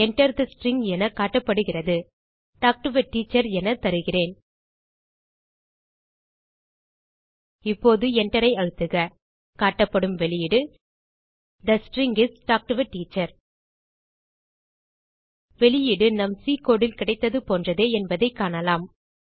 Enter the string என காட்டப்படுகிறது talk to a teacher என தருகிறேன் இப்போது Enter ஐ அழுத்துக காட்டப்படும் வெளியீடு the string is talk to a teacher வெளியீடு நம் சி கோடு கிடைத்தது போன்றதே என்பதைக் காணலாம்